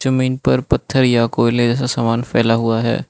जमीन पर पत्थर या कोयले जैसा समान फैला हुआ है।